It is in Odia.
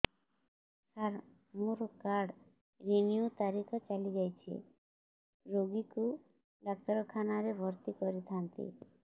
ସାର ମୋର କାର୍ଡ ରିନିଉ ତାରିଖ ଚାଲି ଯାଇଛି ରୋଗୀକୁ ଡାକ୍ତରଖାନା ରେ ଭର୍ତି କରିଥାନ୍ତି